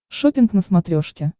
шоппинг на смотрешке